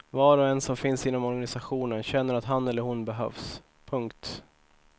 Var och en som finns inom organisationen känner att han eller hon behövs. punkt